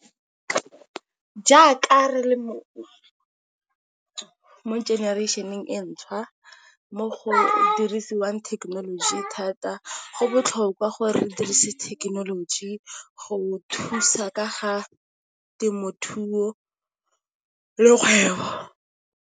Jaaka re le generation-eng entšha mo go dirisiwang thekenoloji thata, go botlhokwa gore dirise thekenoloji go thusa ka ga temothuo le kgwebo.